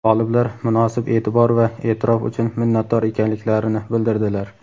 G‘oliblar munosib e’tibor va e’tirof uchun minnatdor ekanliklarini bildirdilar.